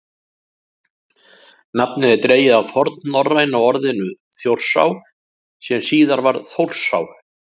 nafnið er dregið af fornnorræna orðinu „þjórsá“ sem síðar varð „þórsá“